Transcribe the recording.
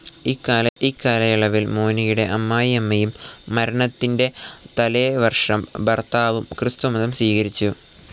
ഇക്കാലയളവിൽ മോനിക്കയുടെ അമ്മായിയമ്മയും, മരണത്തിന്റെ തലേവർഷം ഭർത്താവും ക്രിസ്തുമതം സ്വീകരിച്ചു.